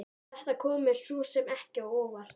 Þetta kom mér svo sem ekki á óvart.